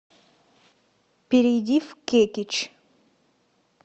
перейди в кекич